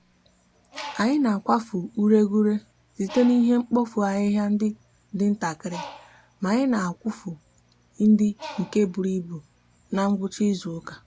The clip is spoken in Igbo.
anyi n'akwafu ureguure site n'ihe mkpofu ahihia ndi di ntakiri ma anyi n'akwufu ndi nke buru ibu n'gwucha izuuka